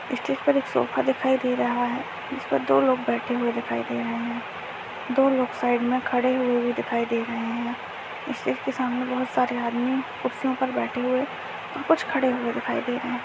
इस स्टेज पर एक सोफा दिखाई दे रहा है जिस पर दो लोग बैठे हुए दिखाई दे रहे हैं| दो लोग साइड में खड़े हुए भी दिखाई दे रहे हैं| स्टेज के सामने बहुत सारे आदमी कुर्सियों पर बैठे हुए हैं और कुछ खड़े हुए दिखाई दे रहे हैं।